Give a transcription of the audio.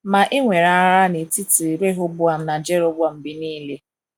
Ma e nwere agha n’etiti Rehoboam na Jeroboam mgbe niile.